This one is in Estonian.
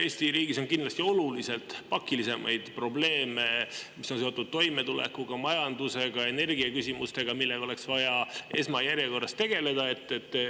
Eesti riigis on kindlasti oluliselt pakilisemaid probleeme, mis on seotud toimetulekuga, majandusega, energiaküsimustega, millega oleks vaja esmajärjekorras tegeleda.